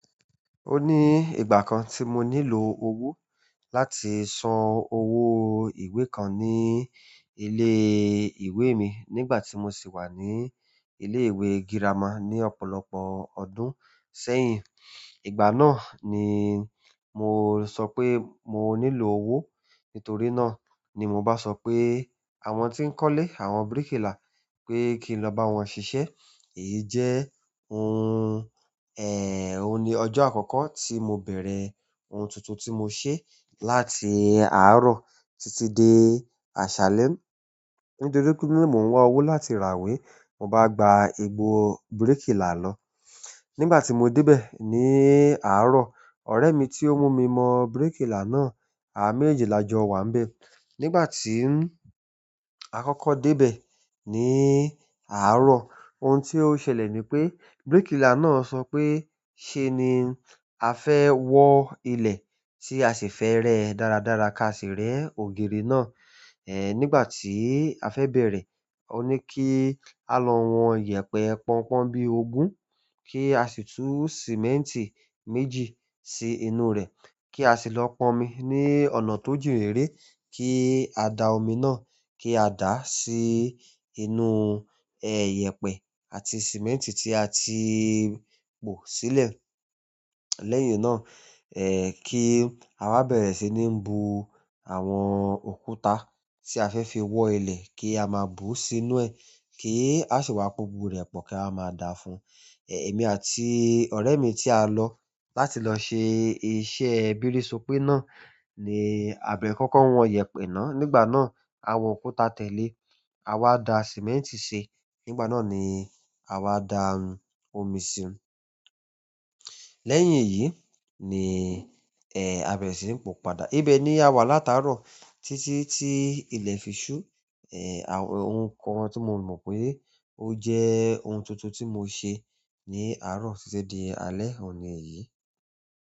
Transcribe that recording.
O ní ìgbà kan tí mo nílò owó láti san owó ìwé kan ní ilé ìwé mi nígbà tí mo sì wà ní ilé ìwé girama ní ọ̀pọ̀lọpọ̀ ọdún sẹ́yìn. Ìgbà náà ni mo sọ pé mo nílò owó. Nítorí náà ni mo ba sọ pe àwọn ti n kọle àwọn birikila, pe kin lo ba wọn sisẹ. Èyí jẹ́ ohun, oun ní ọjọ́ àkọ́kọ́ tí mo bẹ̀rẹ̀ ohun tuntun tí mo ṣe láti àárọ̀ títí dé àṣálẹ́. Nítorí pé mo ń wá owó láti ràwe, mo bá gba igbò bíríkìlà lọ. Nígbà tí mo dé bẹ̀ ní àárọ̀, ọ̀rẹ́ mi tí ó mú mi mọ bíríkìlà náà, àwa méjeji la jọ wá ń bẹ̀. Nígbà tí a kọ́kọ́ dé bẹ̀ ní àárọ̀, ohun tí ó ṣẹlẹ̀ ni pé bíríkìlà náà sọ pé "Ṣé ni a fẹ́ wọ ilẹ̀ tí a sì fẹ rẹ́ dáradára ká sì rẹ́ ògiri náà?" Ẹ̀ nígbà tí a fẹ́ bẹ̀rẹ̀, ó ní kí a lọ wọn iyẹ̀pẹ̀ pọnpọ́n bí ogún kí a sì tú sìmẹ́ǹtì méjì sí inú rẹ̀ kí a sì lọ pọn omi ní ọ̀nà tó jìn rere kí a da omi náà, kí a dà á sí inú ẹ́ iyẹ̀pẹ̀ àti sìmẹ́ǹtì tí a ti pò sílẹ̀. Lẹ́yìn náà, ẹ́ kí a wa bẹ̀rẹ̀ sí ní bu àwọn òkúta tí a fẹ́ fi wọ ilẹ̀ kí a má bú sí inú ẹ kí a sì maa po gbogbo rẹ̀ pọ̀ kí a wa má da fún un. Èmi àti ọ̀rẹ́ mi tí a lọ láti lọ ṣe iṣẹ́ bírìṣọ̀pẹ́ náà ni àbẹ̀ kọ́kọ́ wọn iyẹ̀pẹ̀ náà. Nígbà náà, àwọn òkúta tẹ̀lé. A wá da sìmẹ́ǹtì ṣe. Nígbà náà ni à wá da omi síi. Lẹ́yìn èyí ni, ẹ́ àbẹrẹ sì ń pò padà. Ibẹ ni awa latarọ titi ti ilẹ fi su àwọn ohun kan tí mo mọ̀ pé ó jẹ́ ohun tuntun tí mo ṣe ní àárọ̀ títí di alẹ́ òun ni eyìí.